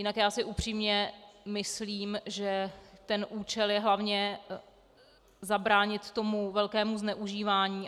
Jinak já si upřímně myslím, že ten účel je hlavně zabránit tomu velkému zneužívání.